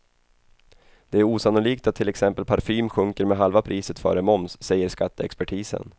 Det är osannolikt att till exempel parfym sjunker med halva priset före moms, säger skatteexpertisen.